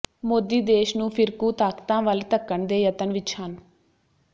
ਮੋਦੀ ਦੇਸ਼ ਨੂੰ ਫ਼ਿਰਕੂ ਤਾਕਤਾਂ ਵੱਲ ਧੱਕਣ ਦੇ ਯਤਨ ਵਿੱਚ ਹਨ